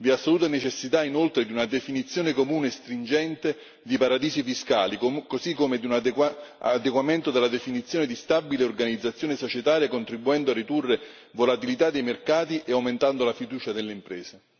Vi è assoluta necessità inoltre di una definizione comune e stringente di paradisi fiscali così come di un adeguamento della definizione di stabile organizzazione societaria contribuendo a ridurre volatilità dei mercati e aumentando la fiducia delle imprese.